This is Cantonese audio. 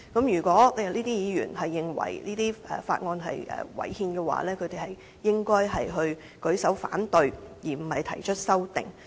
如果議員認為《條例草案》違憲，應該舉手反對，而不是提出修正案。